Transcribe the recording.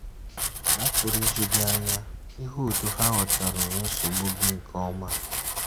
Ma ọ pụrụ iju gị anya ịhụ otú ha ghọtaruru nsogbu gị nke ọma.